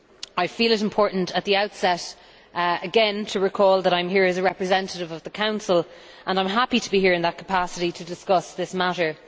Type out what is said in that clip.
I feel it is important at the outset again to recall that I am here as a representative of the Council, and I am happy to be here in that capacity to discuss this matter.